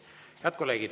Head kolleegid!